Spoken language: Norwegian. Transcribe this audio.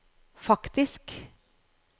faktisk